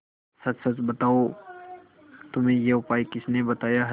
सच सच बताओ तुम्हें यह उपाय किसने बताया है